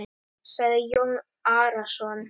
sagði Jón Arason.